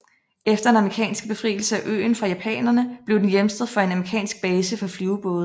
Efter den amerikanske befrielse af øen fra japanerne blev den hjemsted for en amerikansk base for flyvebåde